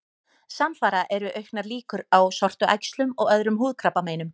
Samfara eru auknar líkur á sortuæxlum og öðrum húðkrabbameinum.